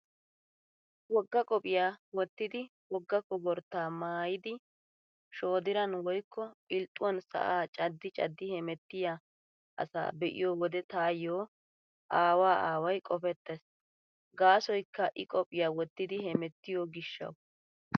Wogga qophiyaa wottidi wogga koporttaa maayidi shooddiran woykko pilxxuwan sa'aa caddi caddi hemettiyaa asaa be'iyo wode taayyo aawaa aaway qopettees. Gaasoykka I qophiyaa wottidi hemettiyo gishshawu.